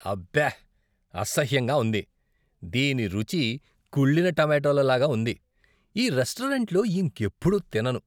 అబ్బే! అసహ్యంగా ఉంది! దీని రుచి కుళ్ళిన టమెటోల లాగా ఉంది, ఈ రెస్టారెంట్లో ఇంకెప్పుడూ తినను.